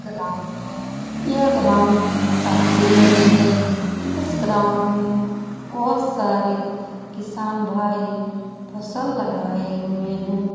Ground है। यह ground काफी बड़ी है। इस ग्राउंड में बहुत सारे किसान भाई फसल लगाये हुए हैं।